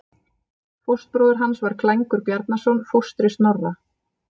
Fóstbróðir hans var Klængur Bjarnason, fóstri Snorra.